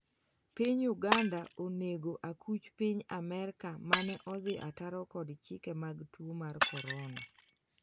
piny Uganda onego akuch Piny Amerka mane odhi ataro kod chike mag tuo mar korona